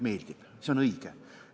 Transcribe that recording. See on õige.